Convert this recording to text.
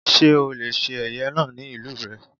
Sé ó le se ẹ̀yẹ náà ní ìlú rè?